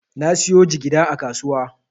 Na siyo jigida a kasuwa.